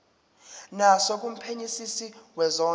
naso kumphenyisisi wezondlo